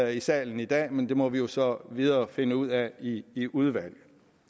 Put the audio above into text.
i salen i dag men det må vi jo så videre finde ud af i i udvalget